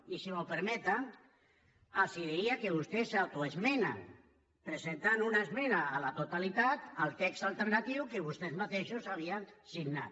i si m’ho permeten els diria que vostès s’autoesmenen presentant una esmena a la totalitat al text alternatiu que vostès mateixos havien signat